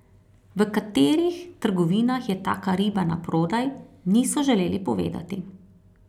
V katerih trgovinah je taka riba na prodaj, niso želeli povedati.